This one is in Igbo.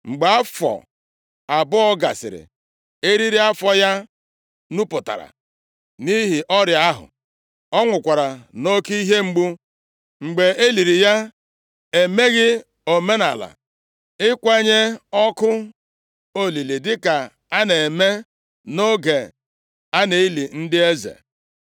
Mgbe afọ abụọ gasịrị, eriri afọ ya nupụtara nʼihi ọrịa ahụ. Ọ nwụkwara nʼoke ihe mgbu. Mgbe e liri ya, e meghị omenaala ịkwanye ọkụ olili dịka a na-eme nʼoge a na-eli ndị eze.